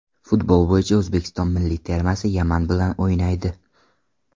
Futbol bo‘yicha O‘zbekiston milliy termasi Yaman bilan o‘ynaydi .